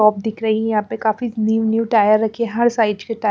आप दिख रही है यहां पे काफी न्यू न्यू टायर रखी है हर साइड केटायर--